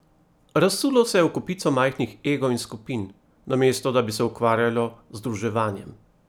Razsulo se je v kopico majhnih egov in skupin, namesto da bi se ukvarjalo z združevanjem.